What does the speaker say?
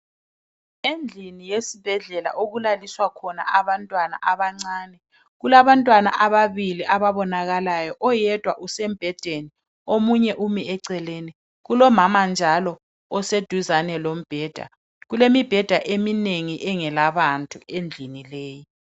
Endlini yesibhedlela okulasiswa khona abantwana abancane kulabantwana ababili ababonakayo oyedwa usembhedeni omunye umi eceleni kulomama njalo eseduzane lombheda kulemibheda eminengi engalabantu endlini leyi.